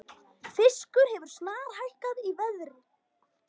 Fiskur hefur snarhækkað í verði